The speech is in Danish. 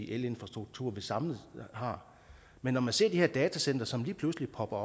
elinfrastruktur vi samlet har men når man ser de her datacentre som lige pludselig popper